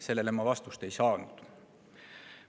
Sellele ma vastust ei saanud.